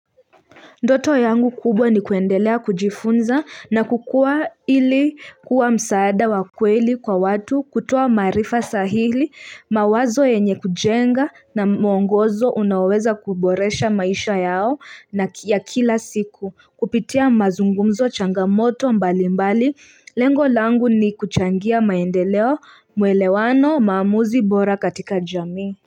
Ndoto yangu kubwa ni kuendelea kujifunza na kukua ili kuwa msaada wa kweli kwa watu kutoa marifa sahili mawazo yenye kujenga na mwongozo unaweza kuboresha maisha yao na ya kila siku kupitia mazungumzo changamoto mbali mbali lengo langu ni kuchangia maendeleo mwelewano mamuzi bora katika jami.